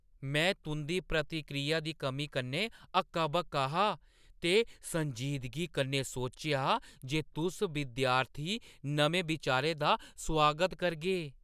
में तुंʼदी प्रतिक्रिया दी कमी कन्नै हक्का-बक्का हा ते संजीदगी कन्नै सोचेआ जे तुस विद्यार्थी नमें बिचारें दा सुआगत करगे।